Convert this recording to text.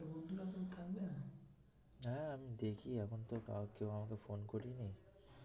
হ্যাঁ আমি দেখি এখন তো কেউ আমাকে ফোন করেনি